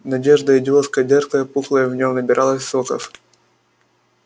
надежда идиотская дерзкая пухла и в нем набиралась соков